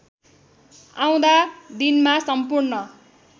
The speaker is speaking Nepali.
आउँदा दिनमा सम्पूर्ण